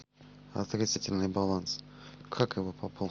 отрицательный баланс как его пополнить